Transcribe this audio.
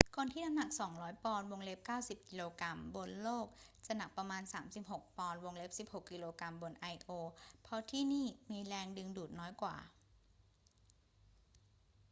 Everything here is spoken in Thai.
คนที่หนัก 200 ปอนด์ 90 กก. บนโลกจะหนักประมาณ 36 ปอนด์ 16 กก. บนไอโอ เพราะที่นี่มีแรงดึงดูดน้อยกว่า